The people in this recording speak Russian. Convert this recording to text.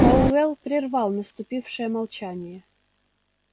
пауэлл прервал наступившее молчание